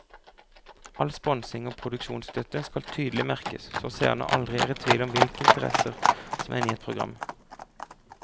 All sponsing og produksjonsstøtte skal tydelig merkes så seerne aldri er i tvil om hvilke interessenter som er inne i et program.